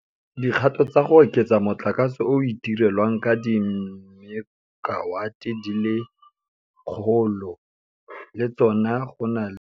Dikgato tsa go oketsa motlakase o o itirelwang ka dimekawate di le 100 le tsona go na le kgona galo ya gore di tla tlhatlosa dipalo tsa ditlamo tsa motlakase mo diporojekeng tsa go itirela motlakase.